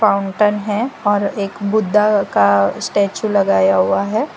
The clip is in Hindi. फाउंटेन है और एक बुद्धा का स्टेच्यू लगाया हुआ है।